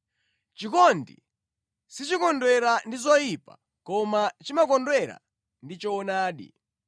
Chikondi sichikondwera ndi zoyipa koma chimakondwera ndi choonadi.